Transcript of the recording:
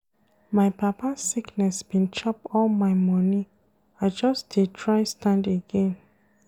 My papa sickness bin chop all my moni, I just dey try stand again.